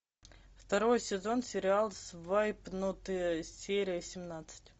второй сезон сериал свайпнутые серия семнадцать